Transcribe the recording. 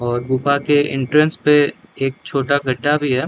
और गुफा के इंट्रेंस पे एक छोटा गड्ढा भी है।